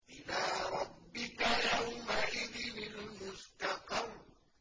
إِلَىٰ رَبِّكَ يَوْمَئِذٍ الْمُسْتَقَرُّ